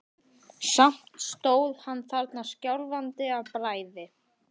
Samt stóð hann þarna skjálfandi af bræði.